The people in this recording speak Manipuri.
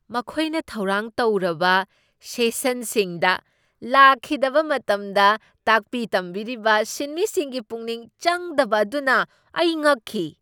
ꯃꯈꯣꯏꯅ ꯊꯧꯔꯥꯡ ꯇꯧꯔꯕ ꯁꯦꯁꯟꯁꯤꯡꯗ ꯂꯥꯛꯈꯤꯗꯕ ꯃꯇꯝꯗ ꯇꯥꯛꯄꯤ ꯇꯝꯕꯤꯔꯤꯕ ꯁꯤꯟꯃꯤꯁꯤꯡꯒꯤ ꯄꯨꯛꯅꯤꯡ ꯆꯪꯗꯕ ꯑꯗꯨꯅ ꯑꯩ ꯉꯛꯈꯤ꯫